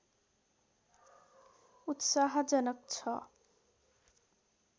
उत्साहजनक छ